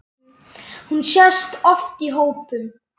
Hún sést oft í hópum.